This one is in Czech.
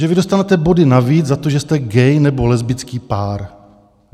Že vy dostanete body navíc za to, že jste gay nebo lesbický pár.